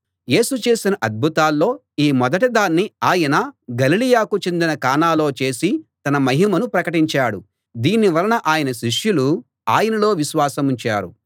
యేసు చేసిన అద్భుతాల్లో ఈ మొదటి దాన్ని ఆయన గలిలయకు చెందిన కానాలో చేసి తన మహిమను ప్రకటించాడు దీని వలన ఆయన శిష్యులు ఆయనలో విశ్వాసముంచారు